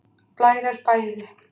Blær er bæði